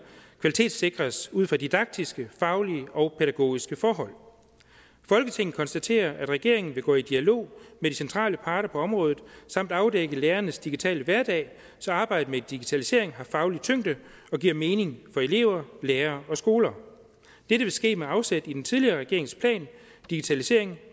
kvalitetssikres ud fra didaktiske faglige og pædagogiske forhold folketinget konstaterer at regeringen vil gå i dialog med de centrale parter på området samt afdække lærernes digitale hverdag så arbejdet med digitalisering har faglig tyngde og giver mening for elever lærere og skoler dette vil ske med afsæt i den tidligere regerings plan digitalisering